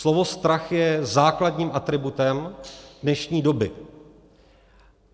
Slovo strach je základním atributem dnešní doby.